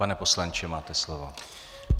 Pane poslanče, máte slovo.